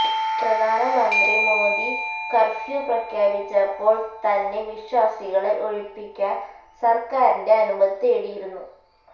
പ്രധാനമന്ത്രി മോഡി കര്ഫ്യൂ പ്രഖ്യാപിച്ചപ്പോള് തന്നെ വിശ്വാസികളെ ഒഴിപ്പിക്കാന് സര്ക്കാരിന്റെ അനുമതി തേടിയിരുന്നു